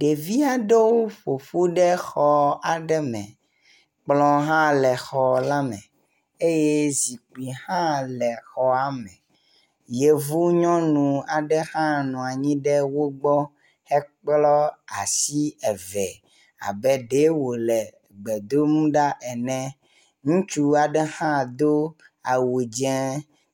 Ɖevi aɖewo ƒoƒu ɖe xɔ aɖe me. Kplɔ hã le xɔ la me eye zikpui hã le xɔa me. Yevu nyɔnu aɖe hã nɔ anyi ɖe wo gbɔ hekplɔ asi eve abe ɖee wo le gbe dom ɖa ene. Ŋutsu aɖe hã do awu dze